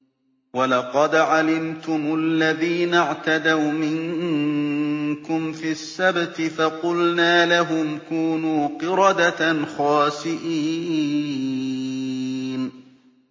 وَلَقَدْ عَلِمْتُمُ الَّذِينَ اعْتَدَوْا مِنكُمْ فِي السَّبْتِ فَقُلْنَا لَهُمْ كُونُوا قِرَدَةً خَاسِئِينَ